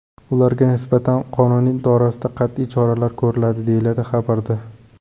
Ularga nisbatan qonun doirasida qat’iy choralar ko‘riladi” , deyiladi xabarda.